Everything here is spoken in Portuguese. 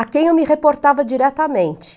a quem eu me reportava diretamente.